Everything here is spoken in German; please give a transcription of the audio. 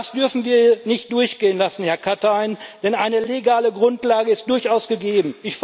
Das dürfen wir nicht durchgehen lassen, Herr Katainen, denn eine legale Grundlage ist durchaus gegeben.